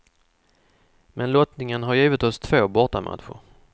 Men lottningen har givit oss två bortamatcher.